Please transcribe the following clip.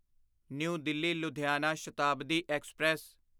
new Delhi Ludhiana Shatabdi express